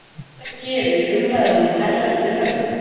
Þetta gerir umræðunum hærra undir höfði